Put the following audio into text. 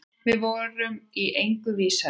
Við vorum í engu vísari.